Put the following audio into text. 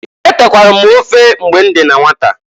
Etekwara m ofe mgbe m dị na nwata.